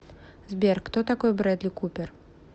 сбер кто такой брэдли купер